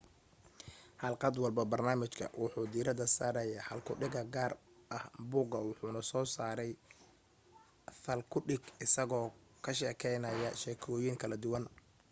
xalqad walba barnaamijka wuxuu diirada saaraya hal ku dhiga gaar ah buuga wuxuna soo saaray thal ku dhig isagoo ka sheekaynaya sheekooyin kala duwan